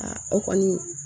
o kɔni